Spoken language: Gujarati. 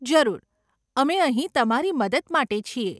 જરૂર, અમે અહીં તમારી મદદ માટે છીએ.